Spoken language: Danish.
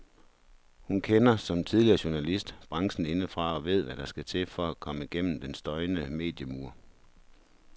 Hun kender, som tidligere journalist, branchen indefra og ved hvad der skal til for at komme gennem den støjende mediemur.